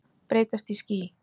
Breytast í ský.